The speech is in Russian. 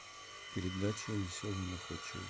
передача веселые и находчивые